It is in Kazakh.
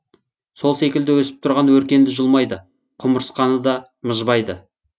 сол секілді өсіп тұрған өркенді жұлмайды құмырсқаны да мыжбайды